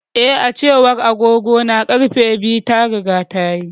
Eh, A cewar agogona, ƙarfe biyu ta riga tayi.